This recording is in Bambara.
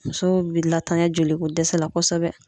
Musow bi latanya joliko dɛsɛ la kosɛbɛ